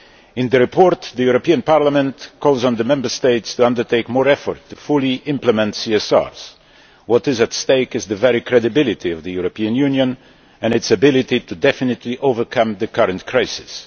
In the report, the European Parliament calls on the Member States to undertake more effort to fully implement CSRs. What is at stake is the very credibility of the European Union and its ability to definitively overcome the current crisis.